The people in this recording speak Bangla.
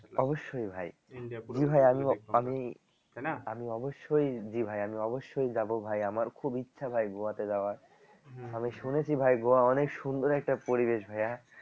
অবশ্যই ভাই আমি অবশ্যই জি ভাই আমি অবশ্যই যাবো ভাই আমার খুব ইচ্ছা ভাই গোয়া তে যাওয়ার আমি শুনেছি ভাই গোয়া অনেক সুন্দর একটা পরিবেশ ভাইয়া